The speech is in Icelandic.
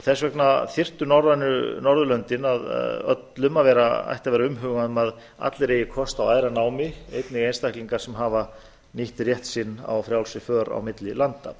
og þess vegna þyrfti norðurlöndunum öllum að vera umhugað um að allir eigi kost á æðra námi einnig einstaklingar sem hafa nýtt rétt sinn í frjálsri för á milli landa